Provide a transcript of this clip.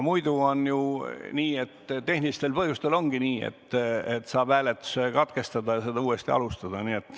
Tehniliste põhjuste korral ongi ju nii, et saab hääletuse katkestada ja seda uuesti alustada.